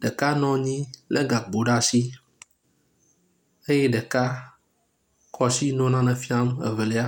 ɖeka nɔ anyi lé gakpo ɖe asi eye ɖeka kɔ asi nɔ nane fiam evelia.